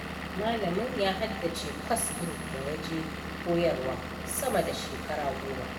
Malamin ya haddace kwas ɗin da yaje koyarwa, sama da shekara goma.